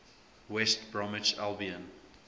west bromwich albion